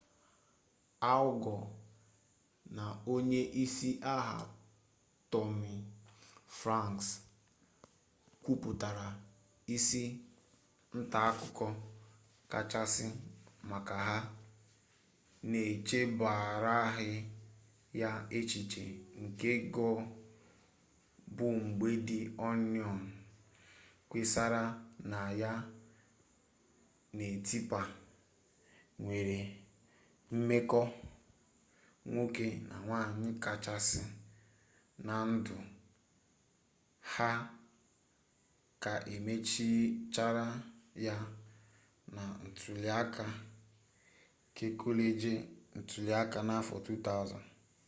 al gọ na onye isi agha tọmi franks kwupụtara isi ntaakụko kacha masị ha n'echebaraghị ya echiche nke gọ bụ mgbe di onịon kpesara na ya na tipa nwere mmekọ nwoke na nwanyị kachasị na ndụ ha ka emerichara ya na ntuliaka kekọleji ntuliaka n'afọ 2000